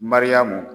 Mariyamu